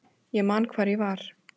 Ég man hvar ég var.